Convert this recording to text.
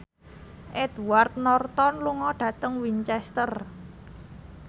Edward Norton lunga dhateng Winchester